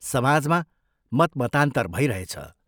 समाजमा मतमतान्तर भइरहेछ।